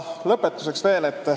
Lõpetuseks veel.